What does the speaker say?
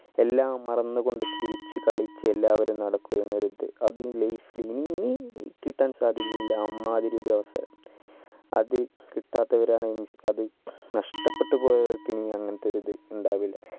എല്ലാം മറന്നു കൊണ്ട് ചിരിച്ച് കളിച്ച് എല്ലാവരും നടക്കുക എന്നൊരു ഇത് അത് ഈ life ഇനി കിട്ടാൻ സാധ്യതയില്ല അമ്മാതിരി ഒരു അവസരം അത് കിട്ടാത്തവരാണേൽ അത് നഷ്ടപ്പെട്ടു പോയവർക് ഇനി അങ്ങനെതൊരു ഇത് ഇണ്ടാവില്ല